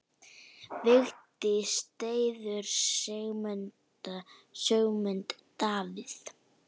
Vigdís styður Sigmund Davíð.